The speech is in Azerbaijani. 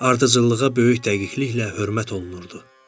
Ardıcıllığa böyük dəqiqliklə hörmət olunurdu.